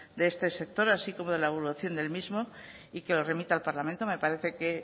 de este sector así como la evaluación del mismo y que lo remita al parlamento me parece que